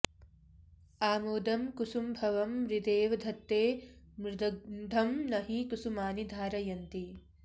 आमोदं कुसुमभवं मृदेव धत्ते मृद्गन्धं नहि कुसुमानि धारयन्ति